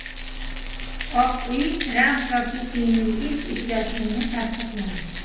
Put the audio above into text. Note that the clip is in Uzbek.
Oq uy Tramp va Putinning ilk uchrashuvini tasdiqladi .